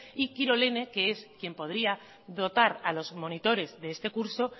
y kilorene que es quién podría dotar a los monitores de este curso